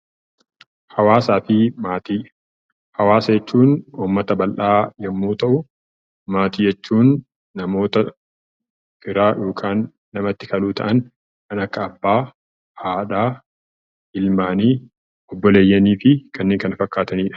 Hawaasa jechuun uummata bal'aa yommuu ta'u, maatii jechuun namoota firaa kan akka abbaa, haadha, ilmaan , obboleeyyanii fi kanneen kana fakkaatanidha